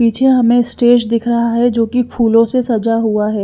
पीछे हमें स्टेज दिख रहा है जो कि फूलों से सजा हुआ है।